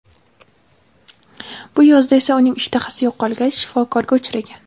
Bu yozda esa uning ishtahasi yo‘qolgach, shifokorga uchragan.